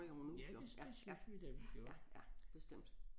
Ja det det synes vi da vi gjorde